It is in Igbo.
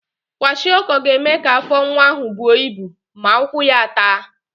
Kwashiọkọ ga-eme ka afọ nwa ahụ buo ibu ma ụkwụ ya a taa.